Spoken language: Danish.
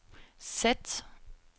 sæt